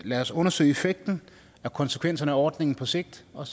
lad os undersøge effekten og konsekvenserne af ordningen på sigt og